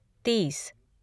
तीस